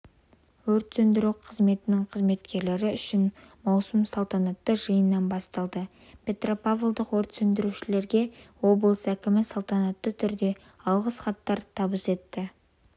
өрт сөндіру қызметінің қызметкерлері үшін маусым салтанатты жиыннан басталды петропавлдық өрт сөндірушілерге облыс әкімі салтанатты түрде алғыс хаттар табыс етті